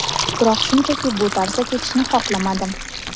Biroq shunchaki bu tarzda ketishni xohlamadim”.